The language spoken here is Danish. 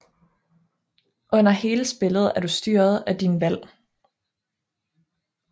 Under hele spillet er du styret af dine valg